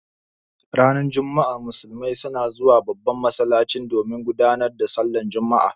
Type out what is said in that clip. Ranar juma'a musulmai suna zuwa babban masallaci domin gudanar da sallan juma'a.